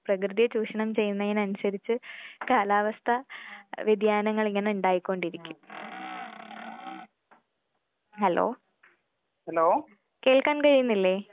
പ്രകൃതിയെ ചൂഷണം ചെയ്യുന്നതിനനുസരിച്ച് കാലാവസ്ഥ വ്യതിയാനങ്ങൾ ഇങ്ങനെ ഇണ്ടായിക്കൊണ്ടിരിക്കും. ഹലോ കേൾക്കാൻ കഴിയുന്നില്ലേ?